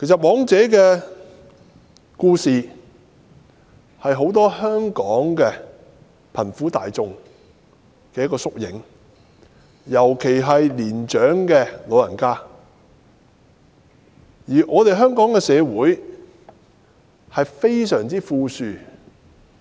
"黃姐"的故事其實是香港許多貧苦大眾，尤其是貧苦長者的縮影，但香港的社會卻非常富庶。